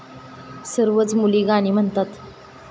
सर्वच मुली गाणी म्हणतात.